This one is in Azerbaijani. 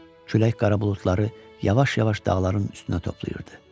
Külək qara buludları yavaş-yavaş dağların üstünə toplayırdı.